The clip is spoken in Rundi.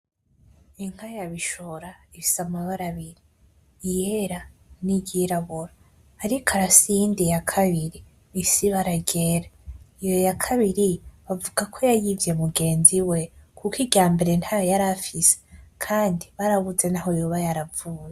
Inka yabishora ifise amabara abiri iyera niryirabura, ariko arafise niyindi nka yakabiri ifise ibara ryera, iyo yakabira bavuga ko yayivye mugenzi we kuko iryambere ntayo yarafise kandi barabuze niyo yavuye.